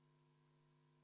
Head ametikaaslased!